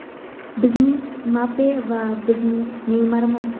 bizning Mbappe va bizning Neymarimiz.